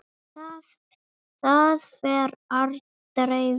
Það fer aldrei vel.